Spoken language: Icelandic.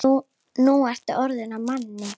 Nú ertu orðinn að manni.